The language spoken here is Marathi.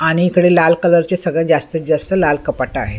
आणि इकडे लाल कलरचे सगळ्यात जास्तीत जास्त लाल कपाटं आहेत.